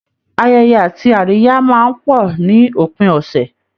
Ayẹyẹ àti àríyá máa ń pọ̀ ní òpin ọ̀sẹ̀